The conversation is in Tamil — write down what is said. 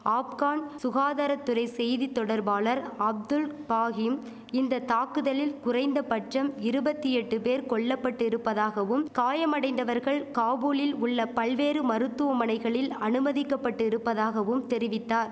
ஆப்கன் சுகாதார துறை செய்தி தொடர்பாளர் அப்துல் பாகிம் இந்த தாக்குதலில் குறைந்த பட்சம் இருபத்தி எட்டு பேர் கொல்லபட்டு இருப்பதாகவும் காயமடைந்தவர்கள் காபூலில் உள்ள பல்வேறு மருத்துவமனைகளில் அனுமதிக்கபட்டு இருப்பதாகவும் தெரிவித்தார்